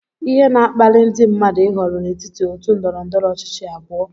Ihe na-akpali ndị mmadụ ịhọrọ n'etiti otu ndọrọ ndọrọ ọchịchị abụọ